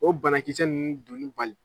O banakisɛ nunnu donnun bali